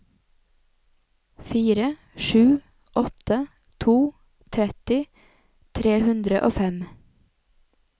fire sju åtte to tretti tre hundre og fem